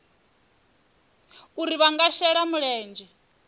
uri vha nga shela mulenzhe